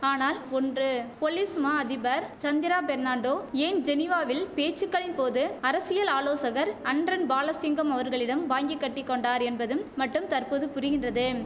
ஆனால் ஒன்று பொலிஸ் மா அதிபர் சந்திரா பெர்னாண்டோ ஏன் ஜெனீவாவில் பேச்சுக்களின் போது அரசியல் ஆலோசகர் அன்ரன் பாலசிங்கம் அவர்களிடம் வாங்கிக்கட்டிக்கொண்டார் என்பதும் மட்டும் தற்பொது புரிகின்றதும்